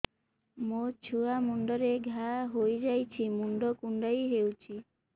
ମୋ ଛୁଆ ମୁଣ୍ଡରେ ଘାଆ ହୋଇଯାଇଛି ମୁଣ୍ଡ କୁଣ୍ଡେଇ ହେଉଛି